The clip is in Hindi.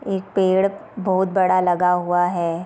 एक पेड़ बहुत बड़ा लगा हुआ है।